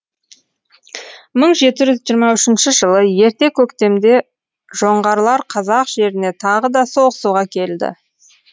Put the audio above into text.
мың жеті жүз жиырма үшінші жылы ерте көктемде жоңғарлар қазақ жеріне тағы да соғысуға келді